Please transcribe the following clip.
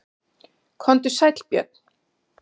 Komdu sæll Björn.